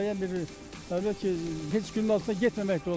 Müəyyən bir hətta heç günün altında getməmək də olmaz.